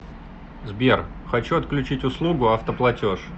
сбер хочу отключить услугу автоплатеж